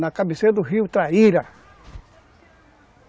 Na cabeceira do rio Traíra.